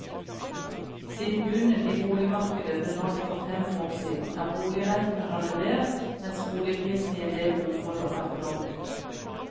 Siden bunnen i boligmarkedet ble nådd for fem år siden, er boligrentene halvert, mens boligprisene i en del områder er fordoblet.